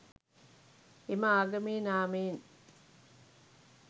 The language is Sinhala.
එම ආගමේ නාමයෙන්